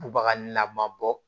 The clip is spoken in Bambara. Bubaga nama bɔ